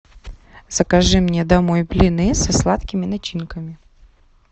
закажи мне домой блины со сладкими начинками